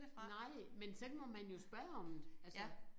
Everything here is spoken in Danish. Nej men så må man jo spørge om det altså